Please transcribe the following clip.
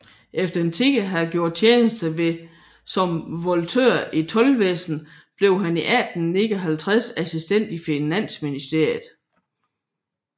Efter en tid at have gjort tjeneste som volontør i Toldvæsenet blev han 1859 assistent i Finansministeriet